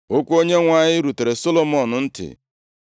Okwu Onyenwe anyị rutere Solomọn ntị,